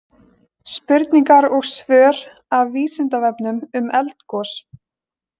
Spurningar og svör af Vísindavefnum um eldgos.